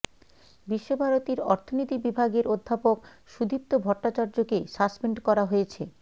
বিশ্বভারতীর অর্থনীতি বিভাগের অধ্যাপক সুদীপ্ত ভট্টাচার্যকে সাসপেন্ড করা হয়েছে